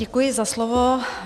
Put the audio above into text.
Děkuji za slovo.